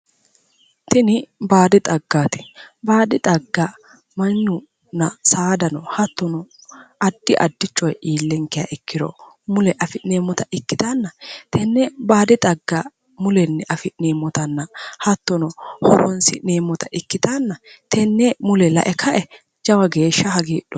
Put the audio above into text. Tini baadu xaggaati baadu xagga Mannuno saadano addi addirichi iilliha ikkiro horoonsi'neemmota ikkitanna tini baadi xagga mulenni afi'neemmota ikkitanna horoonsi'neemmota ikkitanna tenne mule lae kae lowo geeshsha hagiidhoomma.